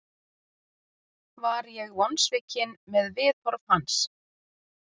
Var ég vonsvikinn með viðhorf hans?